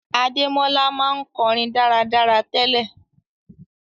Adémọ́lá ma n korin dáradára tele